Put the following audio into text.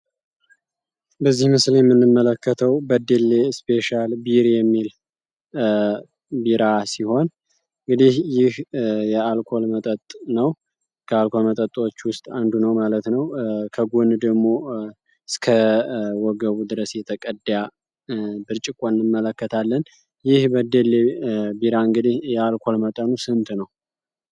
በዚህ ምስል ምንመለከተው በደሌ ስፔሻል ቢራ የሚል ቢራ ሲሆን እንግዲህ የአልኮል መጠጥ ነው ከአልኮል መጠጦች ውስጥ አንዱ ነው ማለት ነው ድረስ የተቀዳ ብርጭቆ እንመለከታለን የአልኮል ቢራ መጠኑ ስንት ነው?